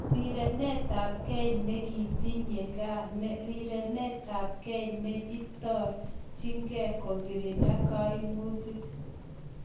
Rirenetabgei nekitinye ngaa rirenetabgei ne itorjingei kokirinda kaimutik